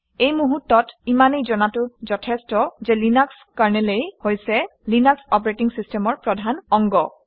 এই মুহূৰ্তত ইমানেই জনাটো যথেষ্ট যে লিনাক্স কাৰনেলেই হৈছে লিনাক্স অপাৰেটিং চিচটেমৰ প্ৰধান অংগ